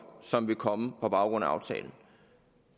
som vil komme på baggrund af aftalen